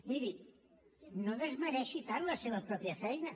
miri no desmereixi tant la seva pròpia feina